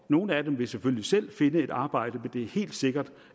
nogle af dem vil selvfølgelig selv finde et arbejde men det er helt sikkert